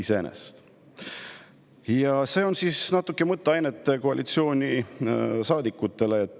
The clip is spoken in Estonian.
Siin on natuke mõtteainet koalitsioonisaadikutele.